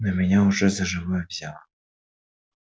но меня уже за живое взяло